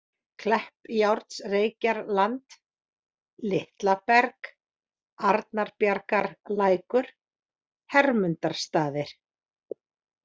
Kleppjárnsreykjarland, Litla Berg, Arnbjargarlækur, Hermundarstaðir